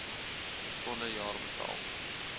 volle jaar betaal